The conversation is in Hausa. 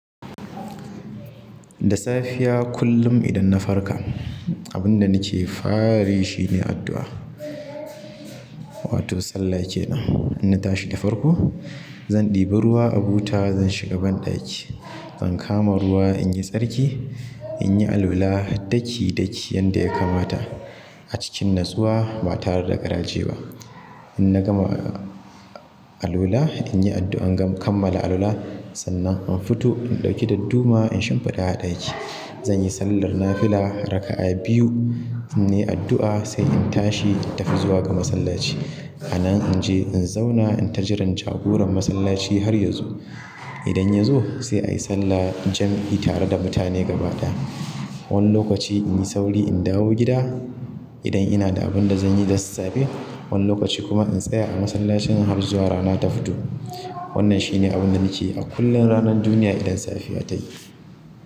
Da safiya kullum idan na farka, abin da nake farayi shine addu'a, wato sallah ke nan. Inna tashi da farko, zan ɗibi ruwa a buta, zan shiga ban ɗaki. Zan kama ruwa in yi tsarki, in yi alula ɗaki ɗaki yanda ya kamata a cikin natsuwa ba tare da garaje ba. In na gama alula, in yi addu'a in gam kammala alula, sannan in fito in ɗauki dadduma in shimfiɗa aɗaki. Zan yi sallar nafila raka'a biyu, in yi addu'a sai in tashi in tafi zuwa ga masallaci. A nan in je in zauna in tajiran jagoran masallaci har ya zo. Idan ya zo sai a yi sallah jam'i tare da mutane gaba ɗaya. Wani lokaci in yi sauri in dawo gida idan ina da abin da zan yi dasa safe. Wani lokaci kuma in tsaya a masallacin in har zuwa rana ta fito. Wannan shine abin da nake yi a kullum ranar duniya idan safiya ta yi.